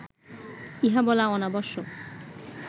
ইহা বলা অনাবশ্যক